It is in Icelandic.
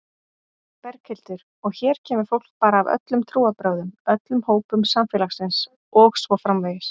Berghildur: Og hér kemur fólk bara af öllum trúarbrögðum, öllum hópum samfélagsins og svo framvegis?